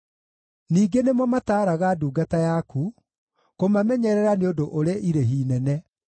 Ningĩ nĩmo mataaraga ndungata yaku; kũmamenyerera nĩ ũndũ ũrĩ irĩhi inene.